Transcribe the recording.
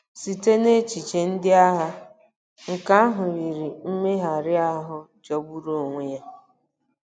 Site n'echiche ndị agha, nke ahụ yiri mmegharị ahụ jọgburu onwe ya.